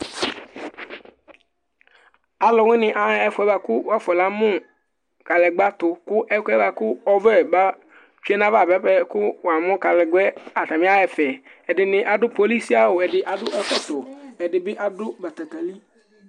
Aluwani aɣa ɛfuɛ buaku wafu na mu kaɖegba tu Ku ɛkuɛ buaku ɔʋɛ ba tsue nu ayu aʋa buapɛ ku wamu kaɖegba yɛ, atani aɣa ɛfɛ Ɛɖini aɖu polisiawu Ɛɖini aɖu ɛkɔtɔ Ɛdi bi aɖu batakali